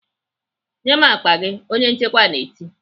"Nye m akpa gị!" onye nchekwa na-eti.